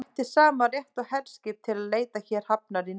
Hann ætti sama rétt og herskip til að leita hér hafnar í neyð.